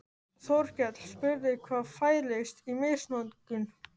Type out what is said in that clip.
Þórkell spurði hvað fælist í misnotkun.